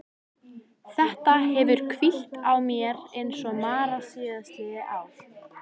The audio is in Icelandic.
Þetta hefur hvílt á mér eins og mara síðastliðið ár.